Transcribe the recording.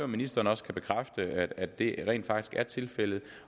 ministeren også kan bekræfte at det rent faktisk er tilfældet